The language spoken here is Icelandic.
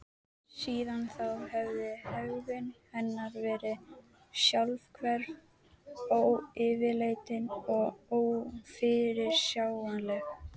Síðan þá hafði hegðun hennar verið sjálfhverf, ófyrirleitin og ófyrirsjáanleg.